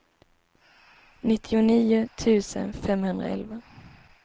nittionio tusen femhundraelva